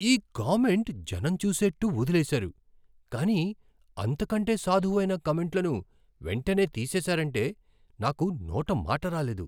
ఈ కామెంట్ జనం చూసేట్టు వదిలేసారు, కానీ అంతకంటే సాధువైన కామెంట్లను వెంటనే తీసేసారంటే నాకు నోట మాట రాలేదు.